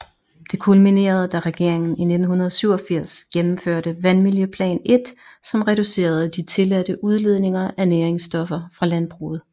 Det kulminerede da regeringen i 1987 gennemførte Vandmiljøplan I som reducerede de tilladte udledninger af næringsstoffer fra landbruget